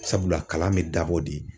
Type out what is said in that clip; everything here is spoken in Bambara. Sabula ,kalan bɛ dabɔ de